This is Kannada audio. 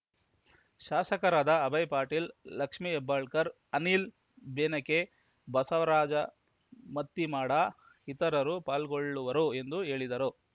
ಶಾಸಕರಾದ ಅಭಯ್‌ ಪಾಟೀಲ್‌ ಲಕ್ಷ್ಮೀ ಹೆಬ್ಬಾಳಕರ್‌ ಅನಿಲ್‌ ಬೆನಕೆ ಬಸವರಾಜ ಮತ್ತಿಮಾಡ ಇತರರು ಪಾಲ್ಗೊಳ್ಳುವರು ಎಂದು ಹೇಳಿದರು